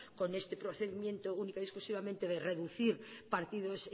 con este procedimiento única y exclusivamente de reducir partidos